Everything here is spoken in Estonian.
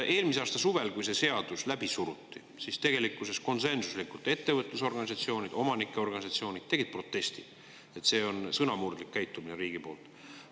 Eelmise aasta suvel, kui see seadus läbi suruti, siis tegelikkuses konsensuslikult ettevõtlusorganisatsioonid ja omanike organisatsioonid tegid protesti, et see on sõnamurdlik käitumine on riigi poolt.